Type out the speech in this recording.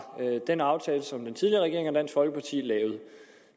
den aftale som den tidligere regering og dansk folkeparti lavede